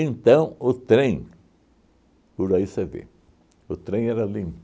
o trem, por aí você vê, o trem era